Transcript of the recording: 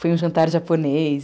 Foi um jantar japonês.